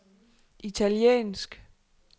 italiensk